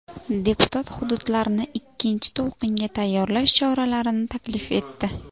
Deputat hududlarni ikkinchi to‘lqinga tayyorlash choralarini taklif etdi.